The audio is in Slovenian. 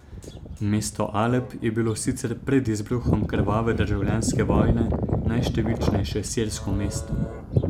Mesto Alep je bilo sicer pred izbruhom krvave državljanske vojne najštevilčnejše sirsko mesto.